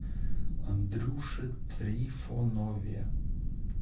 андрюше трифонове